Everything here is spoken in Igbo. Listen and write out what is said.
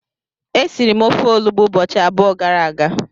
esiri m ofe olugbu ubochi abuo gara aga.